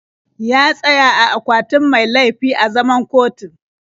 Ya tsaya a akwatin mai laifi a zaman kotun.